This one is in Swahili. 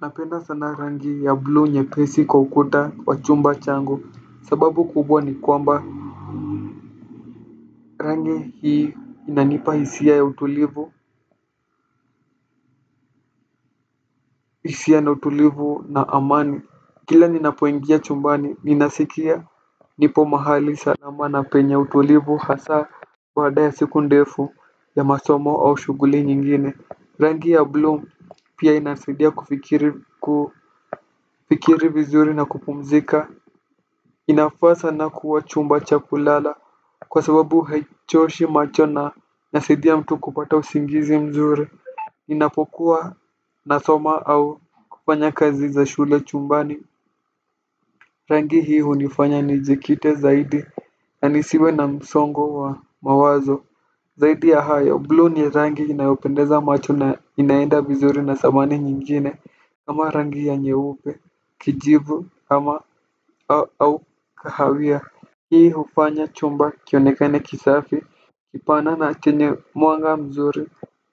Napenda sana rangi ya bluu nyepesi kwa ukuta wa chumba changu sababu kubwa ni kwamba rangi hii inanipa hisia ya utulivu. Hisia na utulivu na amani kila ninapoingia chumbani ninasikia nipo mahali salama na penye utulivu hasa kwa baada siku ndefu ya masomo au shughuli nyingine. Rangi ya bluu pia inasaidia kufikiri kufikiri vizuri na kupumzika. Inafaa sana kwa chumba cha kulala. Kwa sababu haichoshi macho na inasaidia mtu kupata usingizi mzuri ninapokuwa nasoma au kufanya kazi za shule chumbani. Rangi hii hunifanya nijikite zaidi na nisiwe na msongo wa mawazo. Zaidi ya hayo, bluu ni rangi inayopendeza macho na inaenda vizuri na sitamani nyingine. Ama rangi ya nyeupe, kijivu, ama au kahawia hii hufanya chumba kionekane kisafi kipana na chenye mwanga mzuri.